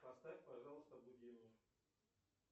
поставь пожалуйста будильник